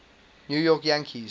new york yankees